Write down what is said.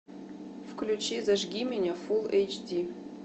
включи зажги меня фулл эйч ди